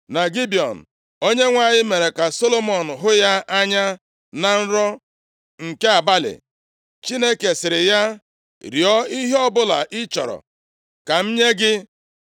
Na Gibiọn, Onyenwe anyị mere ka Solomọn hụ ya anya na nrọ nke abalị, Chineke sịrị ya, “Rịọọ ihe ọbụla ị chọrọ ka m nye gị.”